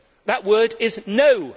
That word is no'.